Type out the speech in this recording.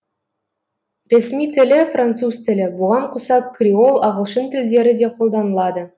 ресми тілі француз тілі бұған қоса креол ағылшын тілдері де қолданылады